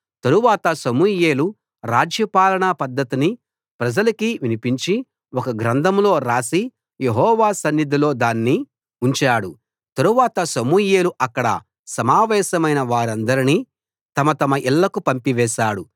తరువాత సమూయేలు రాజ్యపాలన పద్ధతిని ప్రజలకి వినిపించి ఒక గ్రంథంలో రాసి యెహోవా సన్నిధిలో దాన్ని ఉంచాడు తరువాత సమూయేలు అక్కడ సమావేశమైన వారందరినీ తమ తమ ఇళ్ళకు పంపివేశాడు